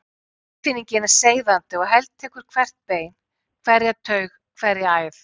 Tilfinningin er seiðandi og heltekur hvert bein, hverja taug, hverja æð.